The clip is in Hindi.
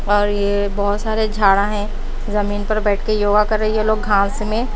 और ये बहोत सारे झाड़ा है जमीन पर बैठ के योगा कर रहे ये लोग घास में--